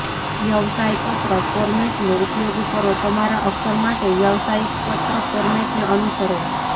વ્યવસાય પત્ર ફોર્મેટનો ઉપયોગ કરો તમારા અક્ષર માટે વ્યવસાયિક પત્ર ફોર્મેટને અનુસરો